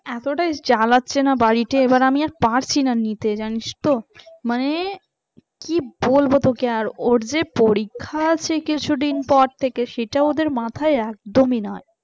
এতটাই জ্বালাচ্ছে না বাড়িতে এবার আমি আর পারছি না নিতে জানিস তো মানে? কি বলবো তোকে ওর যে পরীক্ষা আছে কিছুদিন পর থেকে সেটা ওদের মাথায় একদমই নাই।